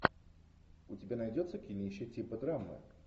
у тебя найдется кинище типа драмы